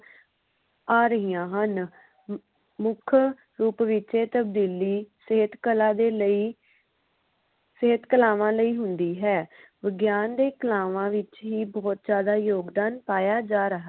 ਆ ਰਹੀਆਂ ਹਨ ਅਮ ਮੁੱਖ ਰੂਪ ਵਿਚ ਇਹ ਤਬਦੀਲੀ ਸਹਿਤ ਕਲਾ ਦੇ ਲਈ ਸਹਿਤ ਕਲਾਵਾਂ ਲਈ ਹੁੰਦੀ ਹੈ ਵਿਗਿਆਨ ਦੇ ਕਲਾਵਾਂ ਵਿਚ ਹੀ ਬੋਹੋਤ ਜ਼ਿਆਦਾ ਯੋਗਦਾਨ ਪਾਇਆ ਜਾ ਰਿਹਾ